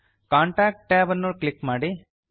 contact tab ಅನ್ನು click ಮಾಡಿ